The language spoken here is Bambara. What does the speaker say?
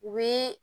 U bi